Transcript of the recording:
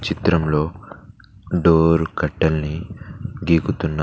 చిత్రంలో door curtain ని దిగుతున్నారు